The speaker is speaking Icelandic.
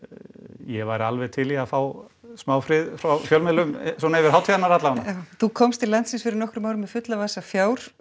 ég væri alveg til í að fá smá frið frá fjölmiðlum svona yfir hátíðirnar alla vega já þú komst til landsins fyrir nokkrum árum með fulla vasa fjár